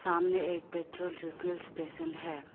सामने एक petrol refill station है।